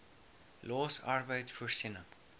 los arbeid voorsiening